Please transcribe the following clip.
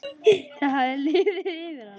Það hafði liðið yfir hana!